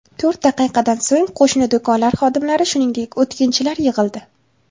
To‘rt daqiqadan so‘ng qo‘shni do‘konlar xodimlari, shuningdek o‘tkinchilar yig‘ildi.